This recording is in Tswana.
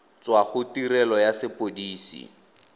tswa go tirelo ya sepodisi